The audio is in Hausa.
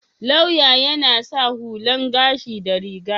Lauya yana sa hullan gashi da riga.